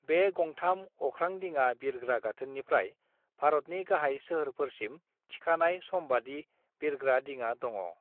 बे गंथाम अख्रांदिङा बिरग्रा गाथोननिफ्राय भारतनि गाहाय सोहोरफोरसिम थिखानाय समबादि बिरग्रा दिङा दङ।